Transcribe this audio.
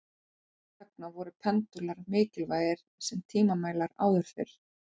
þess vegna voru pendúlar mikilvægir sem tímamælar áður fyrr